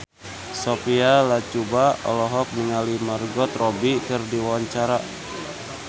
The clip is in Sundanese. Sophia Latjuba olohok ningali Margot Robbie keur diwawancara